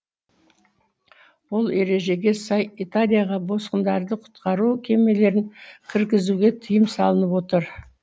ол ережеге сай италияға босқындарды құтқару кемелерін кіргізуге тыйым салынып отыр